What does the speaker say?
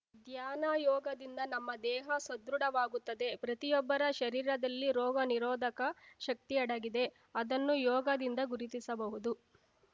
ಧ್ಯಾನ ಯೋಗದಿಂದ ನಮ್ಮ ದೇಹ ಸದೃಢವಾಗುತ್ತದೆ ಪ್ರತಿಯೊಬ್ಬರ ಶರೀರದಲ್ಲಿ ರೋಗ ನಿರೋಧಕ ಶಕ್ತಿ ಅಡಗಿದೆ ಅದನ್ನು ಯೋಗದಿಂದ ಗುರುತಿಸಬಹುದು